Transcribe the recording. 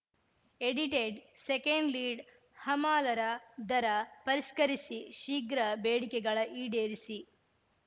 edited second lead ಹಮಾಲರ ದರ ಪರಿಷ್ಕರಿಸಿ ಶೀಘ್ರ ಬೇಡಿಕೆಗಳ ಈಡೇರಿಸಿ